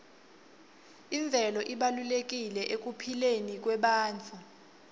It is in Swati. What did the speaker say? imvelo ibalulekile ekuphileni kwebantfu